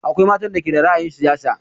Akwai matan da ke da ra'ayin shiga siyasa